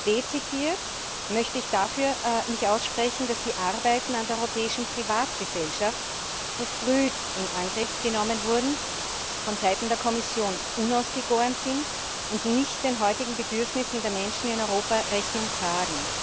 Dezidiert möchte ich mich dafür aussprechen, dass die Arbeiten an der europäischen Privatgesellschaft verfrüht in Angriff genommen wurden, von Seiten der Kommission unausgegoren sind und nicht den heutigen Bedürfnissen der Menschen in Europa Rechnung tragen.